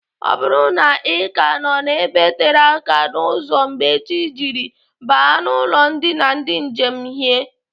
Ọ bụrụ na Ị ka nọ n'ebe tere aka n'ụzọ mgbe chi jiri, baa n'ụlọ ndina ndị njem hie.